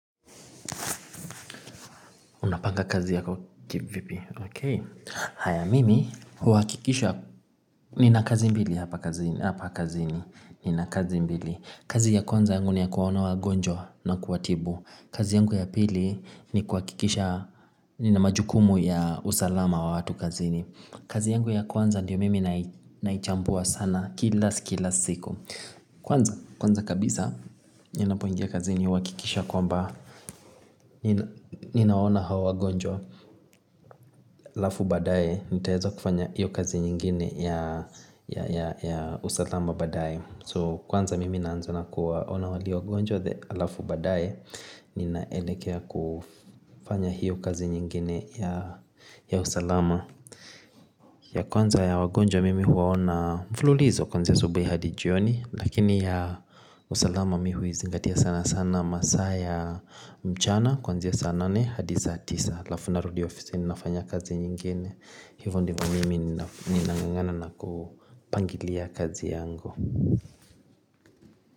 Unapanga kazi yako kivipi okay Haya mimi, uhakikisha, nina kazi mbili hapa kazini, hapa kazini nina kazi mbili. Kazi ya kwanza yangu ni ya kuwaona wagonjwa na kuwatibu. Kazi yangu ya pili ni kuhakikisha, nina majukumu ya usalama wa watu kazini. Kazi yangu ya kwanza ndiyo mimi naichambua sana kila kila siku. Kwanza, kwanza kabisa, ninapoingia kazini uhakikisha kwamba, ninaona hao wagonjwa alafu baadaye nitaeza kufanya hiyo kazi nyingine ya usalama baadaye. So kwanza mimi naanza na kuwaona walio wagonjwa the alafu baadaye ninaelekea kufanya hiyo kazi nyingine ya usalama ya kwanza ya wagonjwa mimi huwaona mfululizo kwanzia asubuhi hadi jioni lakini ya usalama mi huizingatia sana sana masaa ya mchana kuanzia ya saa nane hadi saa tisa alafu narudi ofisini nafanya kazi nyingine hivo ndivyo mimi ninangangana na kupangilia kazi yangu.